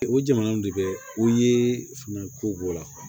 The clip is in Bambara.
O jamanaw de bɛ u ye fɛn ko la